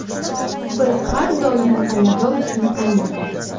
Biz har doim g‘alaba uchun o‘ynaymiz.